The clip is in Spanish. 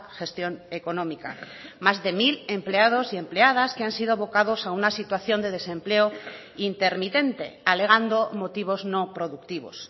gestión económica más de mil empleado y empleadas que han sido abocados a una situación de desempleo intermitente alegando motivos no productivos